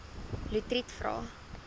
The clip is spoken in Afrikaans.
lotriet vra